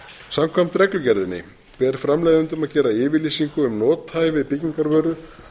samkvæmt reglugerðinni ber framleiðendum að gera yfirlýsingu um nothæfi byggingarvöru